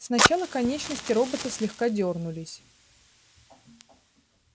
сначала конечности робота слегка дёрнулись